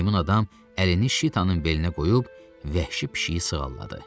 Meymun adam əlini Şitanın belinə qoyub vəhşi pişiyi sığalladı.